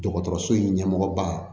Dɔgɔtɔrɔso in ɲɛmɔgɔba